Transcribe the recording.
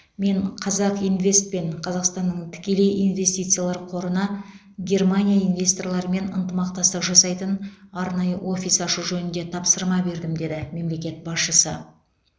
мен қазақинвест пен қазақстанның тікелей инвестициялар қорына германия инвесторларымен ынтымақтастық жасайтын арнайы офис ашу жөнінде тапсырма бердім деді мемлекет басшысы